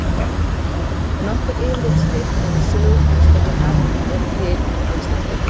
Nokkur yfirlitsrit yfir sögu heimspekinnar eru til á íslensku.